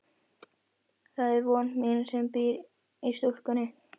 Það er von mín sem býr í stúlkunni.